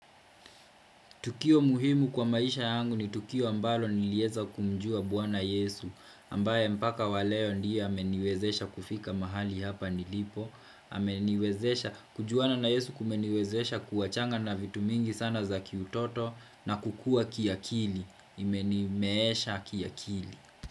Tukio muhimu kwa maisha yangu ni tukio ambalo niliweza kumjua bwana Yesu, ambaye mpaka wa leo ndiye ameniwezesha kufika mahali hapa nilipo, ameniwezesha kujuana na Yesu kumeniwezesha kuwachana na vitu mingi sana za kiutoto na kukua kiakili, imenimeesha kiakili.